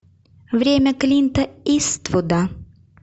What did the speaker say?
время клинта иствуда